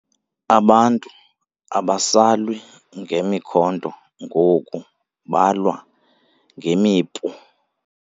Abantu abasalwi ngemikhonto ngoku balwa ngemipu.